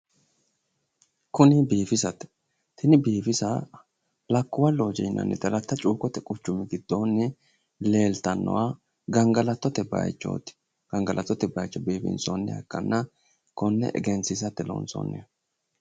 kuni biifisate tini biifisa lakkuwa loojje yinanniti aletta cuukkote quccumi giddoonni leeltannoha gangalatote bayiichooti gangalattote bayiicho biifinsoonniha ikkanna konne egensiisate loonsoonniho.